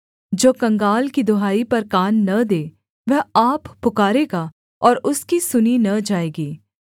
जो कंगाल की दुहाई पर कान न दे वह आप पुकारेगा और उसकी सुनी न जाएगी